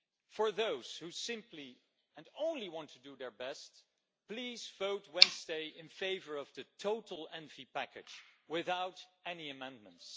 To those who simply and only want to do their best, please vote Wednesday in favour of the total Environment Committee package without any amendments.